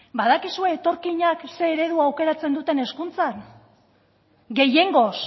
badakizue etorkinak zein eredu aukeratzen duten hezkuntzan gehiengoz